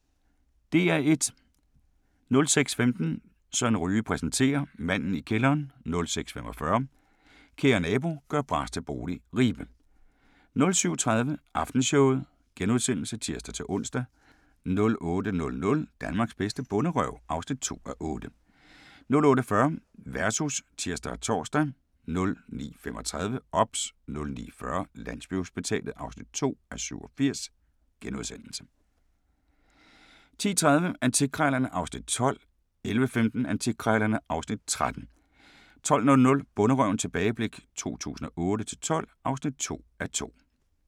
06:15: Søren Ryge præsenterer: Manden i kælderen 06:45: Kære nabo – gør bras til bolig – Ribe 07:30: Aftenshowet *(tir-ons) 08:00: Danmarks bedste bonderøv (2:8) 08:40: Versus (tir og tor) 09:35: OBS 09:40: Landsbyhospitalet (2:87)* 10:30: Antikkrejlerne (Afs. 12) 11:15: Antikkrejlerne (Afs. 13) 12:00: Bonderøven – tilbageblik 2008-2012 (2:2)